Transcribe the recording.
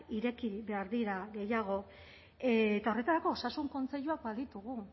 ireki behar dira gehiago eta horretarako osasun kontseiluak baditugu